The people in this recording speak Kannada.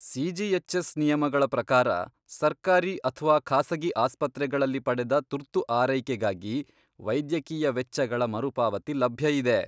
ಸಿ.ಜಿ.ಎಚ್.ಎಸ್. ನಿಯಮಗಳ ಪ್ರಕಾರ, ಸರ್ಕಾರಿ ಅಥ್ವಾ ಖಾಸಗಿ ಆಸ್ಪತ್ರೆಗಳಲ್ಲಿ ಪಡೆದ ತುರ್ತು ಆರೈಕೆಗಾಗಿ ವೈದ್ಯಕೀಯ ವೆಚ್ಚಗಳ ಮರುಪಾವತಿ ಲಭ್ಯ ಇದೆ.